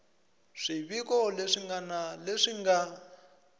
swiviko leswi ngana leswi nga